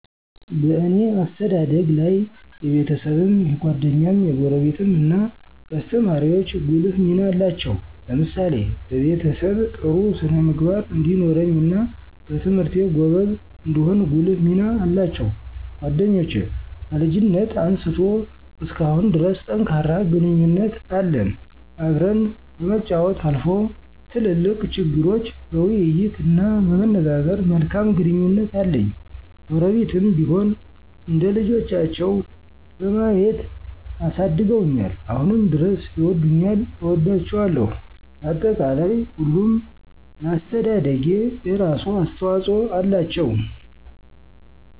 እኔ በአስተዳደጊ ላይ የቤሰብም፣ የጓደኛም፣ የጎረቤትም እናየአሰተማሪወቸ ጉልህ ሚና አለው። ለምሳሌ በቤሰብ ጥሩ ስነ-ምግባር እንዲኖረኝና በትምህርቴ ጎበዝ እንድሆን ጉልህ ሚና አላቸው። ጓደኞቸ ከልጅነት አንስቶ እስካሁን ድረስ ጠንካራ ግንኙነት አለን። አብረን ከመጫወች አልፎ ትልልቅ ችግሮች በይይት እና በመነጋገር መልካም ግንኙነት አለኝ። ጎረቤትም ቢሆን እንደልቻቸው በማየት አሳድገውኛል አሁንም ድረስ ይወዱኛል እወዳቸዋለሁ። በአጠቃላይ ሁሉም ለአሰተደደጊ የራሱ አሰተዋፅኦ አላቸው።